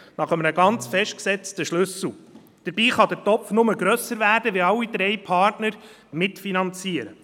Dabei kann der Topf nur grösser werden, wenn alle drei Partner mitfinanzieren.